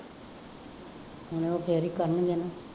ਹੁਣ ਉਹ ਫੇਰ ਹੀ ਕਰਨਗੇ ਨਾ